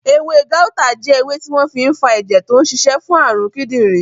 Ewé gáútà jẹ́ ewé tí wọ́n fi n fa ẹ̀jẹ̀ tó n ṣiṣẹ́ fún àrùn kídìnrín